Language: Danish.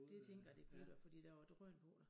Det tænker jeg de kunne da fordi der var drøn på da